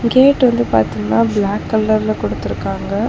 Gate வந்து பாத்தீங்ன்னா black கலர்ல குடுத்துருக்காங்க.